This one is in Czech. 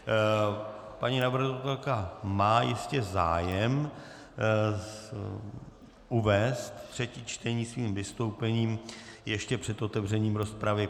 Paní navrhovatelka má jistě zájem uvést třetí čtení svým vystoupením ještě před otevřením rozpravy.